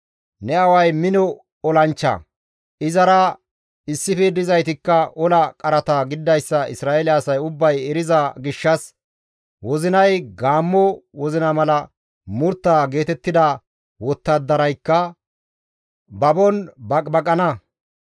Ne aaway mino olanchcha, izara issife dizaytikka ola qarata gididayssa Isra7eele asay ubbay eriza gishshas wozinay gaammo wozina mala murtta geetettida wottadaraykka babon baqibaqana.